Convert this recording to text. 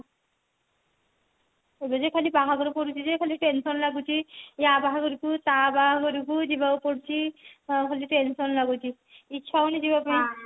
ଏବେ ଯେ ଖାଲି ବାହାଘର ପଡୁଛି ଖାଲି tension ଲାଗୁଛି ୟା ବାହାଘର କୁ ତା ବାହାଘରକୁ ଯିବାକୁ ପଡୁଛି ଖାଲି tension ଲାଗୁଛି ଇଚ୍ଛା ହଉନି ଯିବା ପାଇଁ